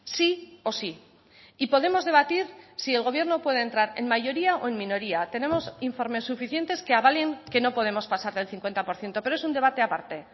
sí o sí y podemos debatir si el gobierno puede entrar en mayoría o en minoría tenemos informes suficientes que avalen que no podemos pasar del cincuenta por ciento pero es un debate aparte